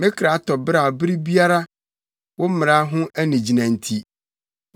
Me kra tɔ beraw bere biara, wo mmara ho anigyina nti.